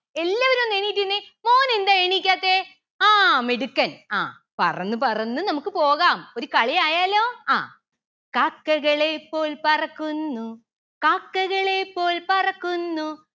എല്ലാവരും ഒന്ന് എണീറ്റ് നിന്നെ മോനെന്താ എണീക്കാത്തെ ആ മിടുക്കൻ ആ പറന്നു പറന്നു നമക്ക് പോകാം ഒരു കളി ആയാലോ ആ കാക്കകളെ പോൽ പറക്കുന്നു കാക്കകളെ പോൽ പറക്കുന്നു